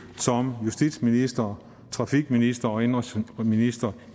som justitsminister trafikminister og indenrigsminister